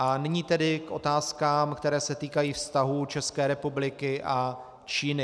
A nyní tedy k otázkám, které se týkají vztahů České republiky a Číny.